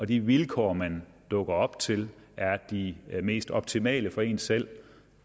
de vilkår man dukker op til er de mest optimale for en selv